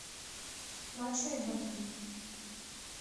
мачо и ботан